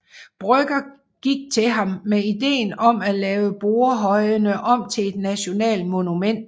Brøgger gik til ham med ideen om at lave Borrehøjene om til et nationalt monument